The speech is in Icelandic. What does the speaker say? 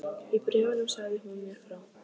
Í bréfunum sagði hún mér frá